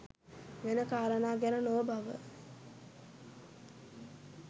වෙන කාරණා ගැන නොව බව